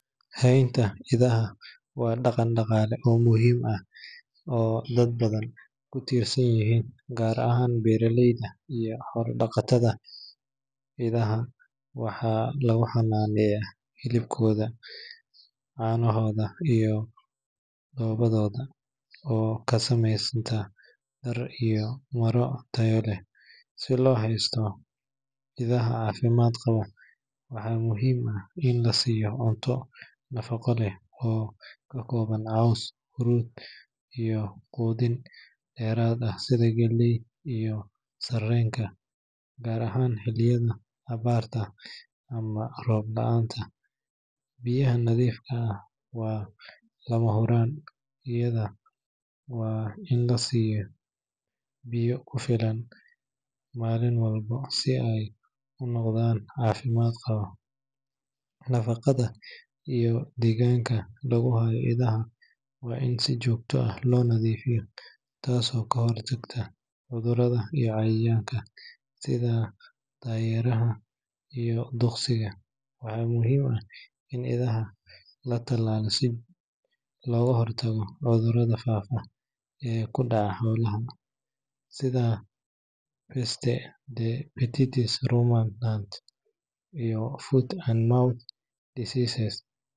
Haynta idaha waa dhaqan dhaqaale oo muhiim ah oo dad badan ku tiirsan yihiin, gaar ahaan beeraleyda iyo xoolo-dhaqatada. Idaha waxaa lagu xannaaneeyaa hilibkooda, caanahooda, iyo dhoobadooda oo ka samaysan dhar iyo maro tayo leh. Si loo haysto idaha caafimaad qaba, waxaa muhiim ah in la siiyo cunto nafaqo leh oo ka kooban caws, haruur, iyo quudin dheeraad ah sida galleyda iyo sarreenka, gaar ahaan xilliyada abaarta ama roob la’aanta. Biyaha nadiifka ah waa lama huraan, idahana waa in la siiyo biyo ku filan maalin walba si ay u noolaadaan caafimaad qab. Nadaafadda iyo deegaanka lagu hayo idaha waa in si joogto ah loo nadiifiyaa, taasoo ka hortagta cudurrada iyo cayayaanka sida daayeeraha iyo duqsiga. Waxaa muhiim ah in idaha la tallaalo si looga hortago cudurrada faafa ee ku dhaca xoolaha, sida Peste des petits ruminants iyo Foot and Mouth Disease.